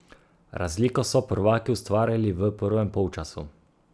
Razliko so prvaki ustvarili v prvem polčasu.